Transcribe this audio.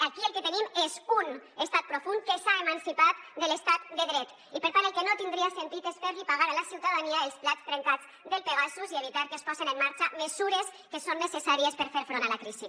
aquí el que tenim és un estat profund que s’ha emancipat de l’estat de dret i per tant el que no tindria sentit és fer pagar a la ciutadania els plats trencats del pegasus i evitar que es posen en marxa mesures que són necessàries per fer front a la crisi